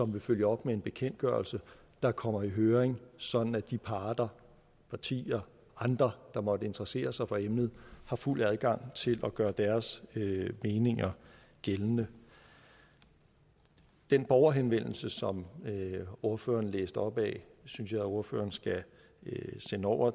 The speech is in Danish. vil følge op med en bekendtgørelse der kommer i høring sådan at de parter partier og andre der måtte interessere sig for emnet har fuld adgang til at gøre deres meninger gældende den borgerhenvendelse som ordføreren læste op af synes jeg ordføreren skal sende over